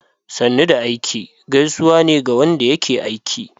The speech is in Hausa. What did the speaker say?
"Sannu da aiki" gaisuwa ne ga wanda yake aiki.